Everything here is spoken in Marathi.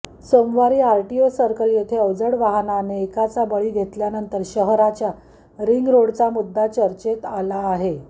सोमवारी आरटीओ सर्कल येथे अवजड वाहनाने एकाचा बळी घेतल्यानंतर शहराच्या रिंगरोडचा मुद्दा चर्चेत आला आहे